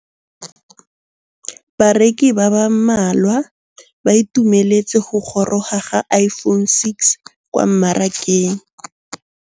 Bareki ba ba malwa ba ituemeletse go gôrôga ga Iphone6 kwa mmarakeng.